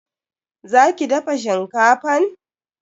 Za ki dafa shinkafan?